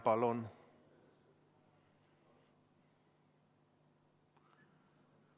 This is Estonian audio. Palun!